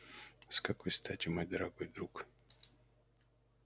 с какой стати мой дорогой друг